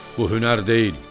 Bu hünər deyil.